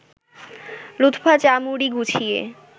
লুৎফা চা-মুড়ি গুছিয়ে